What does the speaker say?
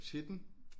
Til den